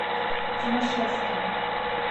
тимашевска